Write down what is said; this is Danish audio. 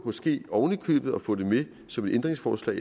måske ovenikøbet kan nå at få det med som et ændringsforslag